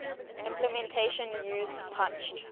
implementation used punched